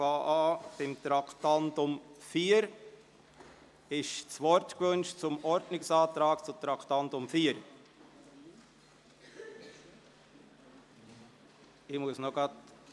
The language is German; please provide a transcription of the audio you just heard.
Ich beginne mit dem Traktandum 4. Wird das Wort zum Ordnungsantrag betreffend Traktandum 4 gewünscht?